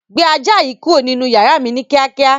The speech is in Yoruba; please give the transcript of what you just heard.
Gbé ajá yìí kúrò nínú yàrá mi ni kíákíá.